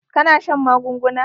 Ka na shan magunguna?